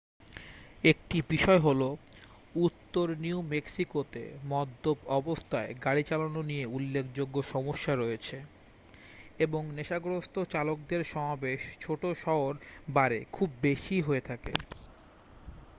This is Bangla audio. একটি বিষয় হল উত্তর নিউ-মেক্সিকোতে মদ্যপ অবস্থায় গাড়ি চালানো নিয়ে উল্লেখযোগ্য সমস্যা রয়েছে এবং নেশাগ্রস্থ চালকদের সমাবেশ ছোট-শহর বারে খুব বেশি হয়ে থাকে